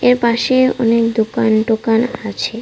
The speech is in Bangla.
এর পাশে অনেক দুকান টুকান আছে।